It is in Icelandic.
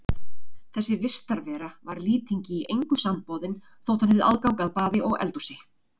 Þessi vistarvera var Lýtingi í engu samboðin þótt hann hefði aðgang að baði og eldhúsi.